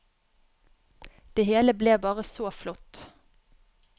Det hele ble bare så flott.